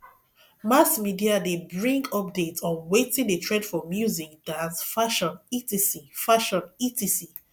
mass media de bring updates on wetin de trend for music dance fashion etc fashion etc